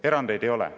Erandeid ei ole.